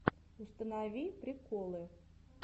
установи приколы